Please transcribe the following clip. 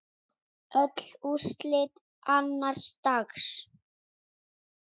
Öll úrslit annars dags